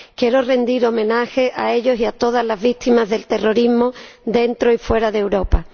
Quiero rendirles homenaje a ellos y a todas las víctimas del terrorismo, dentro y fuera de Europa.